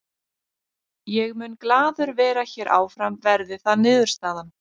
Ég mun glaður vera hér áfram verði það niðurstaðan.